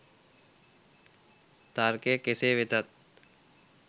තර්කය කෙසේ වෙතත්